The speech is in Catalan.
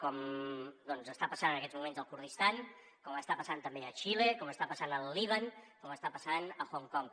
com doncs està passant en aquests moments al kurdistan com està passant també a xile com està passant al líban com està passant a hong kong